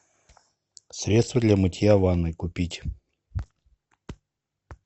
средство для мытья ванной купить